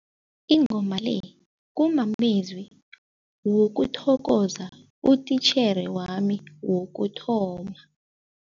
Ingoma le kumamezwi wokuthokoza utitjhere wami wokuthoma.